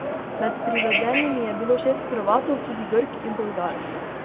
Med privedenimi je bilo šest Hrvatov, tudi Grk in Bolgar.